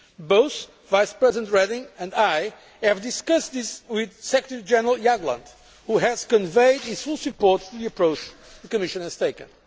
Both Vice President Reding and I have discussed this with Secretary General Jagland, who has conveyed his full support for the approach the Commission has taken.